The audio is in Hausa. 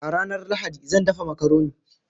A ranar Lahadi, zan dafa makaroni.